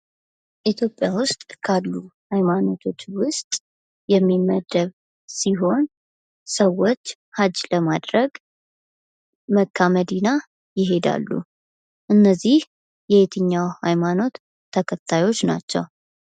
ኢትዮጵያ ውስጥ ካሉ ሀይማኖቶች ውስጥ የሚመደብ ሲሆን ሰዎች ሀጂ ለማድረግ መካ መዲና የሄዳሉ። እነዚህ የትኛው ሃይማኖት ተከታዮች ናቸው?